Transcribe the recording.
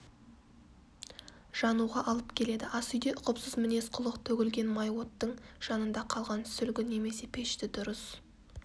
жануға алып келеді асүйде ұқыпсыз мінез-құлық төгілген май оттың жанында қалған сүлгі немесе пешті дұрыс